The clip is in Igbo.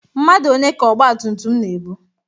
Mmadu one ka ọgbatumtum na-ebu?